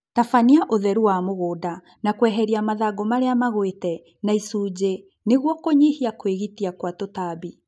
Tabania ũtheru wa mũgũnda na kweheria mathangũ marĩa magwĩte na icunjĩ nĩguo kũnyihia kwĩgitia kwa tũtambi